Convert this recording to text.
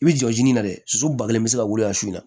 I bi jɔ i jiginna dɛ susu ba kelen bi se ka wuli a su na